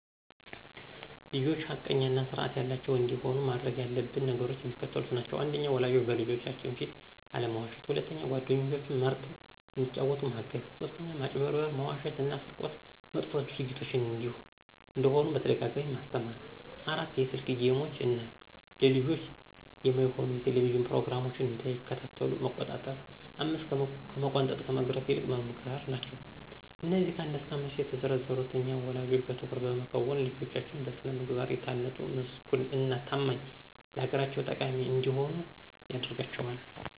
ልጆች ሐቀኛ እና ስርአት ያላቸዉ እንዲሆኑ ማድረግ ያለብን ነገሮች የሚከተሉት ናቸዉ። 1. ወላጆች በልጆቻችን ፊት አለመዋሸት 2. ጓደኞችን መርጠዉ እንዲጫወቱ ማገዝ 3. ማጭበርበር፣ መዋሸት እና ስርቆት መጥፎ ድርጊቶች እንደሆኑ በተደጋጋሚ ማስተማር 4. የስክ ጌሞችን እና ለልጆች የማይሆኑ የቴሌቭዥን ፕሮግራሞች እንዳይከታተሉ መቆጣጠር 5ከመቆንጠጥ ከመግረፍ ይልቅ መምከር ናቸዉ። አነዚህ ከ1 እስከ 5 የተዘረዘሩትን እኛ ወለጆች በትኩረት በመከወን ልጆቻችን በስነ ምግባር የታነጡ ምስጉን እና ታማኝ ለአገራቸው ጠቃሚ እንዲሆኑ ያደርጋቸዋል።